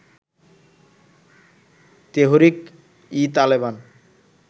Tehrik e Taliban